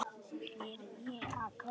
Ég er að kafna.